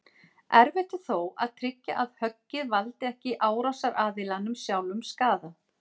Erfitt er þó að tryggja að höggið valdi ekki árásaraðilanum sjálfum skaða.